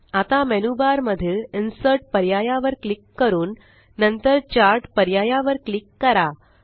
आता मेनूबार मधील इन्सर्ट पर्याया वर क्लिक करून नंतर चार्ट पर्याया वर क्लिक करा